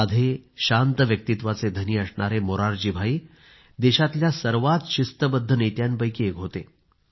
साधे शांत व्यक्तित्वाचे असणारे मोरारजीभाई देशातल्या सर्वात शिस्तबद्ध नेत्यांपैकी एक होते